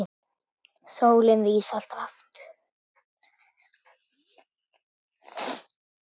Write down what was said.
Sólin rís alltaf aftur.